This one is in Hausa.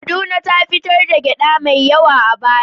Kaduna ta fitar da gyaɗa mai yawa a baya.